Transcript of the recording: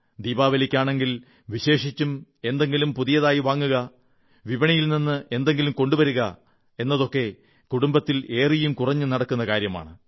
ദീപാലിക്കാണെങ്കിൽ വിശേഷിച്ചും എന്തെങ്കിലും പുതിയതായി വാങ്ങുക വിപണിയിൽ നിന്ന് എന്തെങ്കിലും കൊണ്ടുവരുക എന്നതൊക്കെ കുടുംബത്തിൽ ഏറിയും കുറഞ്ഞും നടക്കുന്നതാണ്